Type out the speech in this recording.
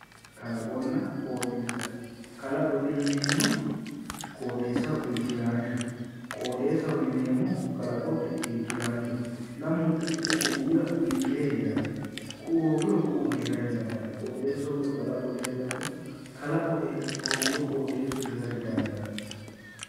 Kalaqonna qooxeessa kalaqote yineemmoti qooxeessaho irkkiraanchoho. qooxeessaho yineemmoti kalaqote irkkiraanchoho lamunku ku'u kuiira irkire heeranno. ku'u hoogiro ku'u heera didandaanno. qooxeessu hoogiro kalaqo diheedhanno. kalqo hooguro qooxeessu heera didandaanno.